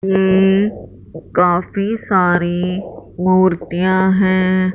काफी सारे मूर्तियां हैं।